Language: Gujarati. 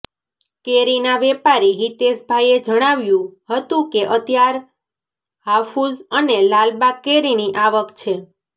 કેરીના વેપારી હિતેશભાઈએ જણાવ્યું હતુ કે અત્યાર હાફુસ અને લાલબાગ કેરીની આવક છે